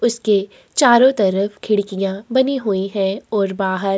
उसके चारों तरफ खिड़कियाँ बनी हुई है और बाहर --